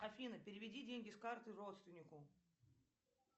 афина переведи деньги с карты родственнику